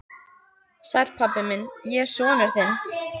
Sæll, pabbi minn, ég er sonur þinn.